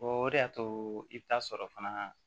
o de y'a to i bɛ taa sɔrɔ fana